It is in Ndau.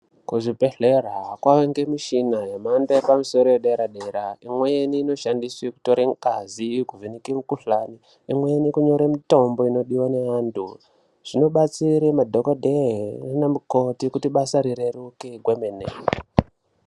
Kuzvibhedhlera kwaava ngemushina yemhando yepamusoro yedera-dera. Imweni inoshandiswe kunyore ngazi, kuvheneke mikhuhlani, imweni inonyorerwa mutombo inodiwa ngevantu. Zvinobatsire nadhokodhee naanamukoti kuti bas rireruke kwemene.